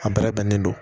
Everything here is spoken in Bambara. A bɛrɛ bɛnnen don